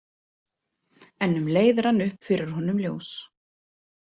En um leið rann upp fyrir honum ljós.